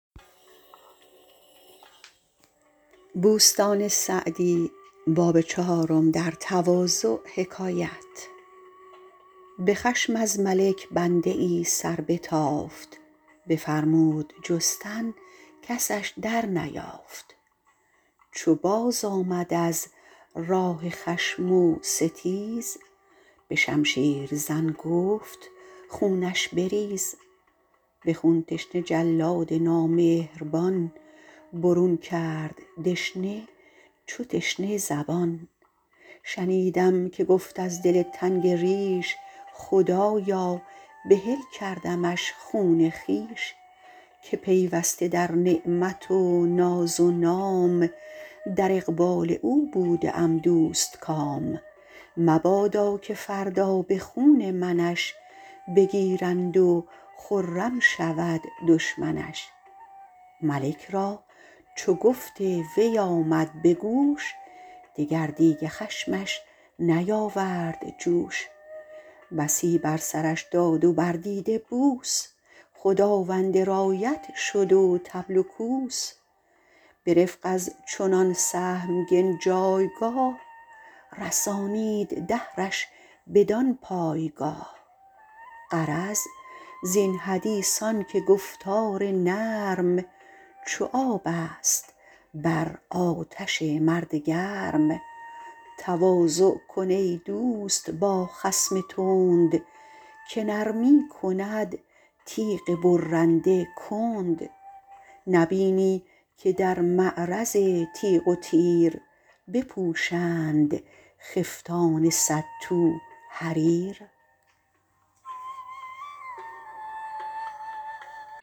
به خشم از ملک بنده ای سربتافت بفرمود جستن کسش در نیافت چو بازآمد از راه خشم و ستیز به شمشیر زن گفت خونش بریز به خون تشنه جلاد نامهربان برون کرد دشنه چو تشنه زبان شنیدم که گفت از دل تنگ ریش خدایا بحل کردمش خون خویش که پیوسته در نعمت و ناز و نام در اقبال او بوده ام دوستکام مبادا که فردا به خون منش بگیرند و خرم شود دشمنش ملک را چو گفت وی آمد به گوش دگر دیگ خشمش نیاورد جوش بسی بر سرش داد و بر دیده بوس خداوند رایت شد و طبل و کوس به رفق از چنان سهمگن جایگاه رسانید دهرش بدان پایگاه غرض زین حدیث آن که گفتار نرم چو آب است بر آتش مرد گرم تواضع کن ای دوست با خصم تند که نرمی کند تیغ برنده کند نبینی که در معرض تیغ و تیر بپوشند خفتان صد تو حریر